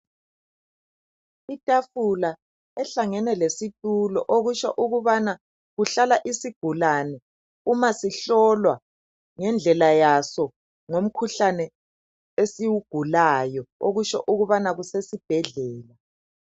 Itafula ehlangene lesitulo okutsho ukubana kuhlala isigulane uma sihlolwa ngendlela yaso ngomkhuhlane esiwugulayo, okusho ukubana kusesibhedlela.